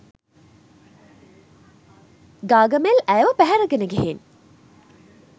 ගාගමෙල් ඇයව පැහැරගෙන ගිහිං